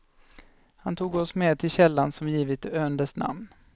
Han tog oss med till källan som givit ön dess namn.